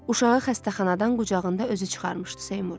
Uşağı xəstəxanadan qucağında özü çıxarmışdı Seymur.